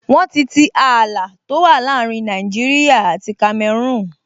Wọ́n ti tii ààlà tó wà láàrin Nàìjíríyà àti Kamẹrúùn